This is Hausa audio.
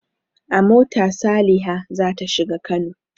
A mota Saliha za ta shiga Kano.